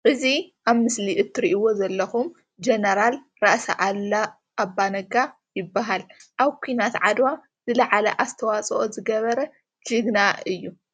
እዚ ኣብ ምስሊ ትሪእዎ ዘለኩም ጀነራል ራእሲ ኣሉላ ኣባ ነጋ ይበሃል ኣብ ኩናት ዓድዋ ዝለዓለ ኣስተዋጽኦ ዝገበረ ጅግና እዩ።